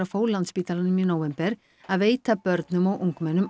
fól Landspítalanum í nóvember að veita börnum og ungmennum